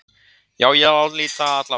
Já ég álít það alla vega.